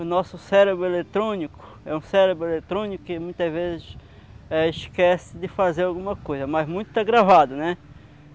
O nosso cérebro eletrônico é um cérebro eletrônico que muitas vezes eh esquece de fazer alguma coisa, mas muito está gravado, né?